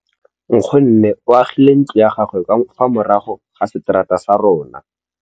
Nkgonne o agile ntlo ya gagwe ka fa morago ga seterata sa rona.